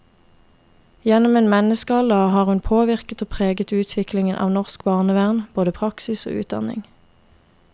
Gjennom en menneskealder har hun påvirket og preget utviklingen av norsk barnevern, både praksis og utdanning.